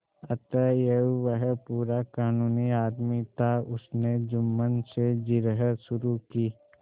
अतएव वह पूरा कानूनी आदमी था उसने जुम्मन से जिरह शुरू की